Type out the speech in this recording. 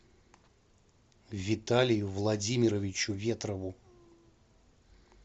виталию владимировичу ветрову